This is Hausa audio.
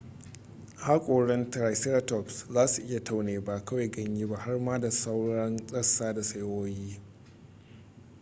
hakoran triceratops za su iya taune ba kawai ganye ba har ma da tsauraran rassa da saiwoyi